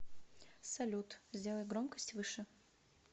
салют сделай громкость выше